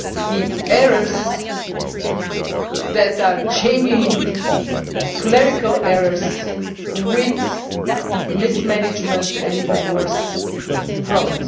the errors that are genuine clerical errors with mismanagement and, even worse, fraud.